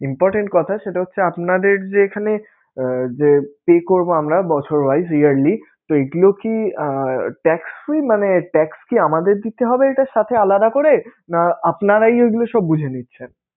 important কথা সেটা হচ্ছে আপনাদের যে এখানে আহ যে pay করবো আমরা বছর wise yearly, তো এগুলো কি tax free? মানে tax কি আমাদের দিতে হবে এটার সাথে আলাদা করে, না আপনারাই এগুলো সব বুঝে নিচ্ছেন?